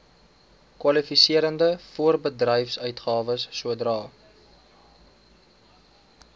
kwalifiserende voorbedryfsuitgawes sodra